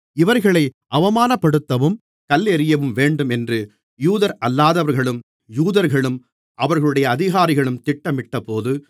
இவர்களை அவமானப்படுத்தவும் கல்லெறியவும் வேண்டும் என்று யூதரல்லாதவர்களும் யூதர்களும் அவர்களுடைய அதிகாரிகளும் திட்டமிட்டபோது